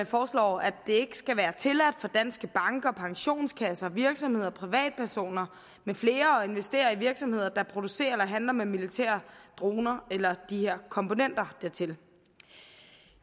foreslår at det ikke skal være tilladt for danske banker pensionskasser virksomheder og privatpersoner med flere at investere i virksomheder der producerer eller handler med militære droner eller komponenter dertil